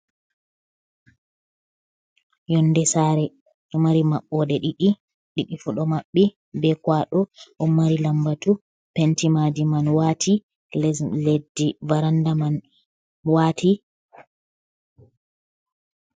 Yonde saare ɗo mari maɓɓoɗe ɗiɗi, ɗiɗi fu ɗo maɓɓi be kwaɗo, ɗon mari lambatu penti maadi man waati leddi varanda man waati.